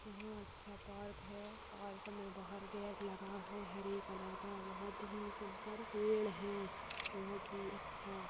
यहाँ अच्छा पार्क है पार्क में बाहर गेट लगा है। हरे कलर का बहुत ही सुंदर पेड़ है बहुत ही अच्छा --